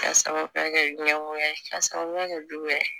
K'a sababuya kɛ ɲɛngoya ye ka sababuya kɛ jumɛn ye